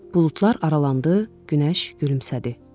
Buludlar aralandı, günəş gülümsədi.